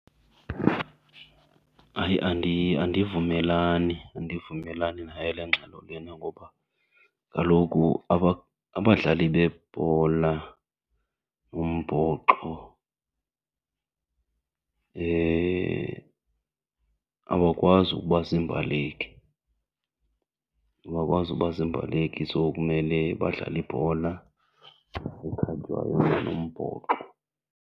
Hayi, andivumelani, andivumelani nayo le ngxelo lena. Ngoba kaloku abadlali bebhola umbhoxo abakwazi ukuba zimbaleki, abakwazi uba zimbaleki so kumele badlale ibhola ekhatywayo neyombhoxo.